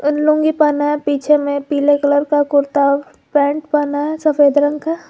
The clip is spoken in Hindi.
लुंगी पहना है पीछे में पीले कलर का कुर्ता पैंट पहना है सफेद रंग का।